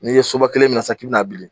N'i ye soba kelen minɛ sisan k'i bɛn'a bili